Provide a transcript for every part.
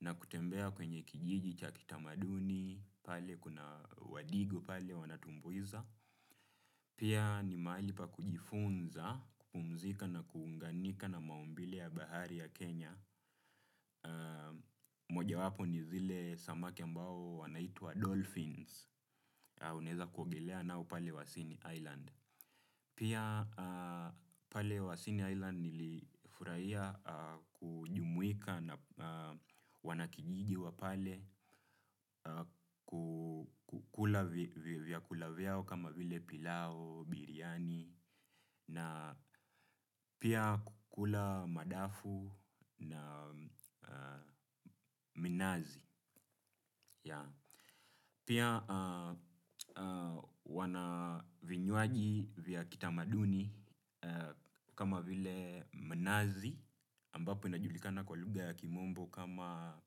na kutembea kwenye kijiji chaki tamaduni, pale kuna wadigu pale wanatumbuiza. Pia, ni maali pa kujifunza kupumzika na kuunganika na maumbile ya bahari ya Kenya. Mojawapo ni vile samaki ambao wanaitwa Dolphins. Au naeza kuogelea nao pale Wasini Island. Pia, pale Wasini Island nilifurahia kujumuika na wanakijiji wa pale, kukula vyakula vyao kama vile pilau, biriani. Na, pia kukula madafu na minazi. Pia, wana vinywaji vya kitamaduni kama vile minazi. Ambapo inajulikana kwa luga ya Kimombo kama,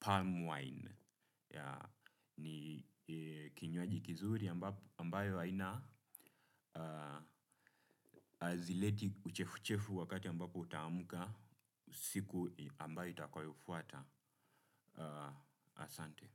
palm wine. Ni kinywaji kizuri ambayo haina. Hazileti uchefuchefu wakati ambapo utaamka. Siku ambayo itakayofuata. Asante.